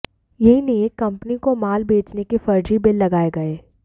यही नहीं एक कंपनी को माल बेचने के फर्जी बिल लगाए गए